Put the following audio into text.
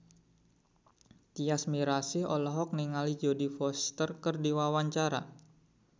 Tyas Mirasih olohok ningali Jodie Foster keur diwawancara